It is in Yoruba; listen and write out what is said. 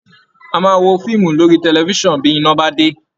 A máa wo fíìmù lórí tẹlifiṣan bí iná bá dé